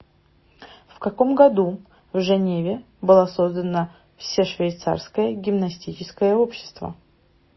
в каком году в женеве была создана всешвейцарское гимнастическое общество